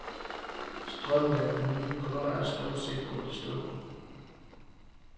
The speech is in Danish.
Strømmen af nye kunder er stort set gået i stå.